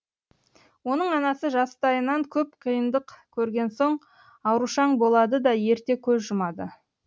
оның анасы жастайынан көп қиындық көрген соң аурушаң болады да ерте көз жұмады